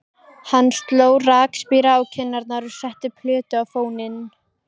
Hann sló rakspíra á kinnarnar og setti plötu á fóninn.